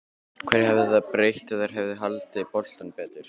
Hverju hefði það breytt ef þær hefðu haldið boltanum betur?